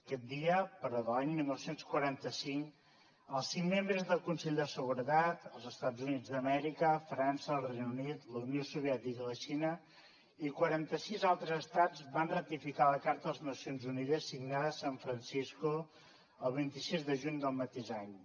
aquest dia però de l’any dinou quaranta cinc els cinc membres del consell de seguretat els estats units d’amèrica frança el regne unit la unió soviètica i la xina i quaranta sis altres estats van ratificar la carta de les nacions unides signada a san francisco el vint sis de juny del mateix any